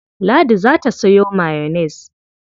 Ladi za ta sayo mayonnaise.